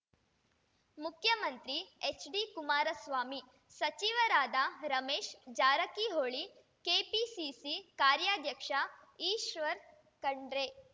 ಮುಖ್ಯಮಂತ್ರಿ ಎಚ್‌ಡಿ ಕುಮಾರಸ್ವಾಮಿ ಸಚಿವರಾದ ರಮೇಶ್‌ ಜಾರಕಿಹೊಳಿ ಕೆಪಿಸಿಸಿ ಕಾರ್ಯಾಧ್ಯಕ್ಷ ಈಶ್ವರ್‌ ಖಂಡ್ರೆ